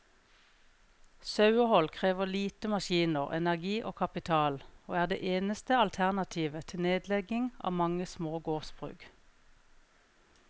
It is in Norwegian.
Sauehold krever lite maskiner, energi og kapital, og er det eneste alternativet til nedlegging av mange små gårdsbruk.